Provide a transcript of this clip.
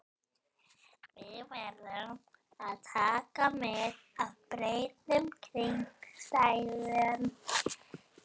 Við verðum að taka mið af breyttum kringumstæðum.